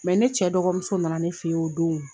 ne cɛ dɔgɔmuso nana ne fɛ yen o don